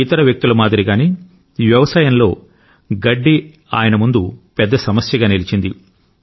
ఇతర వ్యక్తుల మాదిరిగానే వ్యవసాయంలో గడ్డి ఆయన ముందు పెద్ద సమస్యగా నిలిచింది